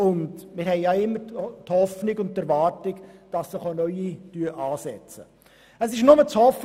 Und wir haben immer die Hoffnung und die Erwartung, dass sich auch neue Unternehmen niederlassen.